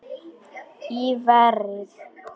Í verið